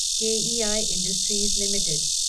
के E I industries limited